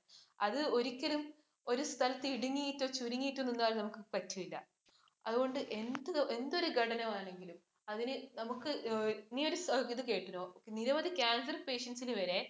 അത് ഒരിക്കലും ഒരു സ്ഥലത്തു ഇടുങ്ങിട്ടോ, ചുരിങ്ങിട്ടോ നിന്നാൽ നമുക്ക് പറ്റുകയില്ല. അതുകൊണ്ട് എന്തു എന്തൊരു ഘടകമാണെങ്കിലും അതിന് നമുക്ക് നീ ഒരു ഇത് കേട്ടോ? നിരവധി cancer patients ഇനു വരെ